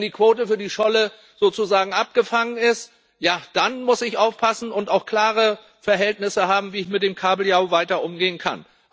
Wenn die Quote für die Scholle sozusagen abgefangen ist, ja, dann muss ich aufpassen und auch klare Verhältnisse haben, wie ich mit dem Kabeljau weiter umgehen kann.